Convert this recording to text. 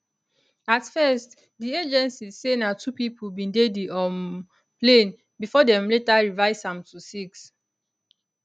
at first di agency say na two pipo bin dey di um plane bifor dem later revise am to six